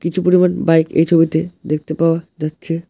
কিছু পরিমাণ বাইক এই ছবিতে দেখতে পাওয়া যাচ্ছে।